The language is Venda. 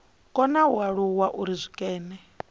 kona u alula uri zwikene